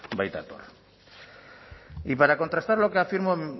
baitator y para contrastar lo que afirmo